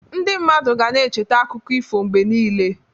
Ndị mmadụ ga na-echeta akụkọ ifo mgbe niile.